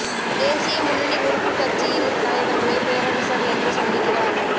தேசிய முன்னணி உறுப்புக் கட்சியின் தலைவர்களை பேரரசர் இன்று சந்திக்கிறார்